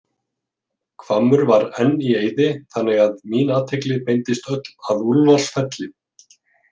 Hvammur var enn í eyði þannig að mín athygli beindist öll að Úlfarsfelli.